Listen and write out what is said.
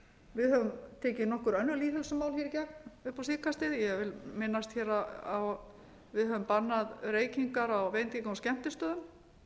við höfum tekið nokkur önnur lýðheilsumál í gegn upp á síðkastið ég vil minnast á að við höfum bannað reykingar á veitinga og skemmtistöðum við